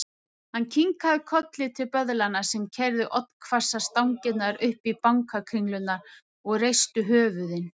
Hann kinkaði kolli til böðlanna sem keyrðu oddhvassar stangirnar upp í banakringlurnar og reistu höfuðin.